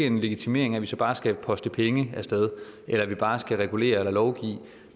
en legitimering af at vi så bare skal poste penge af sted eller at vi bare skal regulere eller lovgive